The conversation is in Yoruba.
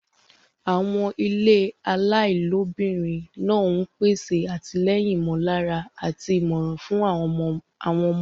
Àwọn ilé ọmọ aláìlóbìnrin náà ń pèsè àtìlẹ́yìn ìmọ̀lára àti ìmọ̀ràn fún àwọn ọmọdé.